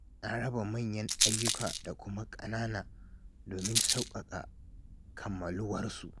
Na raba manyan ayyuka da kuma ƙanana domin sauƙaƙawa da kammaluwarsu.